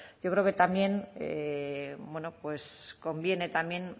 yo creo que también bueno pues conviene también